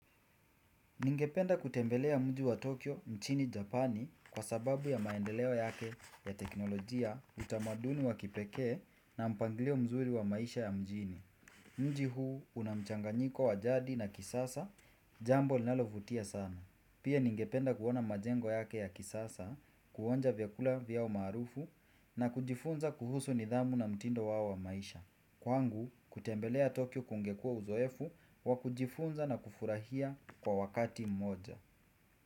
Ningependa kutembelea mji wa Tokyo nchini Japani kwa sababu ya maendeleo yake ya teknolojia utamaduni wa kipekee na mpangilio mzuri wa maisha ya mjini. Mji huu una mchanganyiko wa jadi na kisasa jambo linalovutia sana. Pia ningependa kuona majengo yake ya kisasa kuonja vyakula vyao maarufu na kujifunza kuhusu nidhamu na mtindo wao wa maisha. Kwangu kutembelea Tokyo kungekua uzoefu wa kujifunza na kufurahia kwa wakati mmoja.